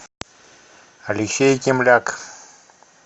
алексей кимляк